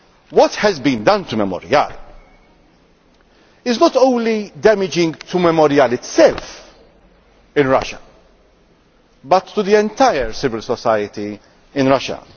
what has been done to Memorial is not only damaging to Memorial itself in Russia, but to the entire civil society in Russia.